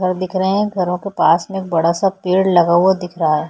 घर दिख रहे हैं घरों के पास में एक बड़ा सा पेड़ लगा हुआ दिख रहा हैं।